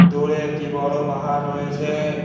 দূরে একটি বড় পাহাড় রয়েছে।